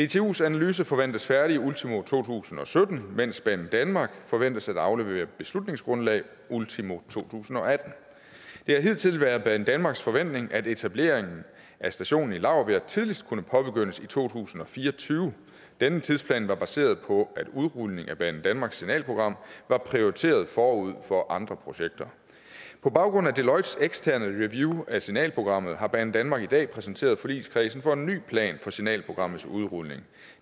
dtus analyse forventes færdig ultimo to tusind og sytten mens banedanmark forventes at aflevere et beslutningsgrundlag ultimo to tusind og atten det har hidtil været banedanmarks forventning at etableringen af stationen i laurbjerg tidligst kunne påbegyndes i to tusind og fire og tyve denne tidsplan var baseret på at udrulningen af banedanmarks signalprogram var prioriteret forud for andre projekter på baggrund af deloittes eksterne review af signalprogrammet har banedanmark i dag præsenteret forligskredsen for en ny plan for signalprogrammets udrulning